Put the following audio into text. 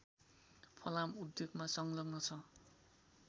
फलाम उद्योगमा संलग्न छ